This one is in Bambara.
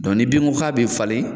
ni bin ko k'a be falen